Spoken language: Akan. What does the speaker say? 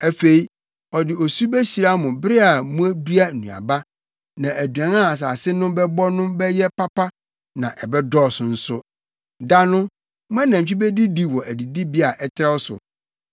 Afei ɔde osu behyira mo bere a mudua nnuaba, na aduan a asase no bɛbɔ no bɛyɛ papa na ɛbɛdɔɔso nso. Da no, mo anantwi bedidi wɔ adidibea a ɛtrɛw so.